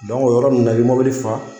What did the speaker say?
o yɔrɔ ninnu na i bɛ mobili fa